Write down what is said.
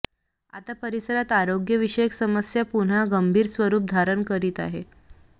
आता परिसरात आरोग्यविषयक समस्या पुन्हा गंभीर स्वरुप धारण करीत आहे